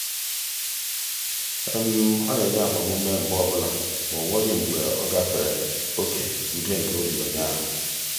ọ na-enye agbamume mgbe ọbụla ma o nweghị mgbe ọ gafere oke udo nke obi onye ahụ.